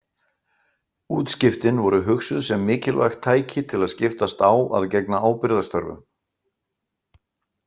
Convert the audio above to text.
Útskiptin voru hugsuð sem mikilvægt tæki til að skiptast á að gegna ábyrgðarstörfum.